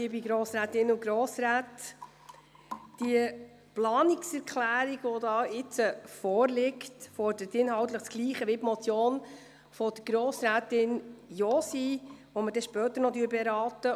Die vorliegende Planungserklärung fordert inhaltlich dasselbe wie die Motion der Grossrätin Josi , die wir später noch beraten werden.